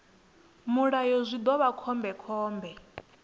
mulayo zwi ḓo vha khombekhombe